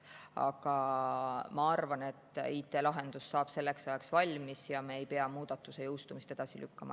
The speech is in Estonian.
Aga ma arvan, et IT‑lahendus saab selleks ajaks valmis ja me ei pea muudatuse jõustumist edasi lükkama.